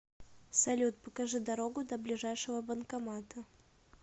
салют покажи дорогу до ближайшего банкомата